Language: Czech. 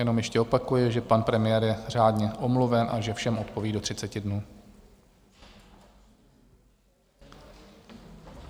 Jenom ještě opakuji, že pan premiér je řádně omluven a že všem odpoví do 30 dnů.